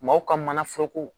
Maaw ka manaforoko